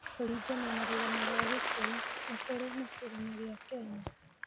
Kũringana na rũgano rwa Gikũyũ, nikũrĩ na kĩrĩma gĩa Kenya.